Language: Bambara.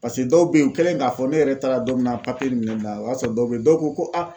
dɔw bɛ yen u kɛlen k'a fɔ ne yɛrɛ taara don min na papiye nin minɛn na o y'a sɔrɔ dɔw bɛ yen dɔw ko ko a